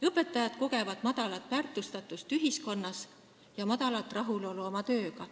Õpetajad kogevad vähest väärtustatust ühiskonnas ja vähest rahulolu oma tööga.